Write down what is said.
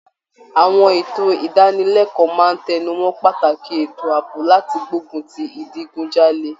Àwọn ètò ìdánilẹ́kọ̀ọ́ máa tẹnu mọ́ pàtàkì ètò àbọ̀ láti gbógun ti ìdigunjalè.